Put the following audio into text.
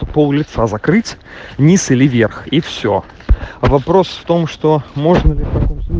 улица закрыть низ или верх и все вопрос в том что можно ли